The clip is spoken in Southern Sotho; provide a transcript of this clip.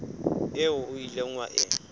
eo o ileng wa e